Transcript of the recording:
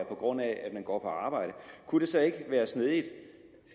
på grund af at man går på arbejde kunne det så ikke være snedigt